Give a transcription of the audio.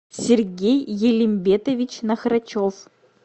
сергей елембетович нахрачов